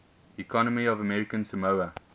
economy of american samoa